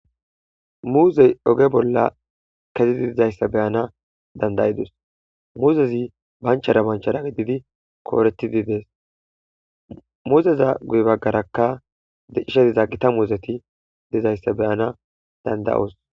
muuzey oge bolla kezidi dizayssa beyana dandayidus muuzezi banchara banchara gididi kooretidi dees muuzeza guy baggarakka dicishe diza gita muuzeti dizayssa beyana dandayoos